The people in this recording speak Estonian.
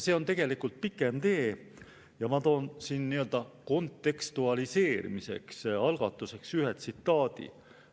See on olnud tegelikult pikem tee ja ma toon algatuseks, nii-öelda kontekstualiseerimiseks ühe tsitaadi.